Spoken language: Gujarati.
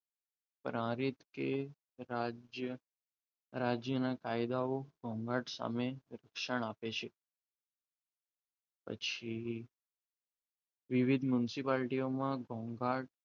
કે રાજ્યના કાયદાઓ ઘોંઘાટ સામે રક્ષણ આપે છે. પછી મ્યુનિસિપાલટીઓના ઘોંઘાટ,